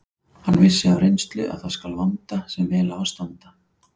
Hann vissi af reynslu að það skal vanda sem vel á að standa.